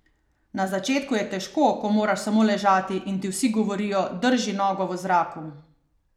Na začetku je težko, ko moraš samo ležati in ti vsi govorijo: "Drži nogo v zraku.